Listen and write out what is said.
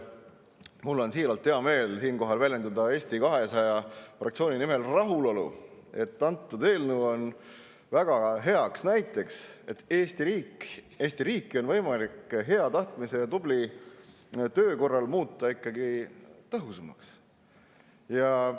Mul on siiralt hea meel siinkohal väljendada Eesti 200 fraktsiooni nimel rahulolu, et see eelnõu on väga heaks näiteks, et Eesti riiki on võimalik hea tahtmise ja tubli töö korral ikkagi tõhusamaks muuta.